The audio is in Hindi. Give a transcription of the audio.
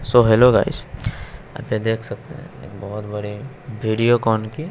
सो हेलो गाइस यहां पे देख सकते है एक बहोत बड़े भीडियो कान की--